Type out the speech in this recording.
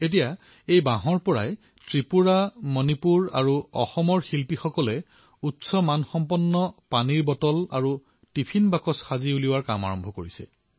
এতিয়া এই বাঁহৰ পৰা ত্ৰিপুৰা মণিপুৰস অসমৰ শিল্পীসকলে উচ্চ গুণগতমানৰ পানীৰ বটল আৰু টিফিন বক্স উৎপাদন কৰা আৰম্ভ কৰিছে